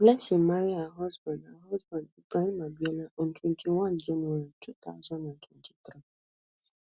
blessing marry her husband her husband ibrahim abiola on twenty-one january two thousand and twenty-three